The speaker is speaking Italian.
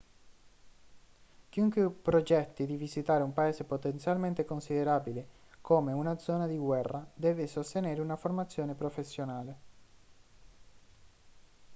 chiunque progetti di visitare un paese potenzialmente considerabile come una zona di guerra deve sostenere una formazione professionale